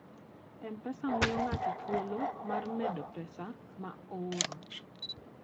M-Pesa miyo ng'ato thuolo mar medo pesa ma ooro.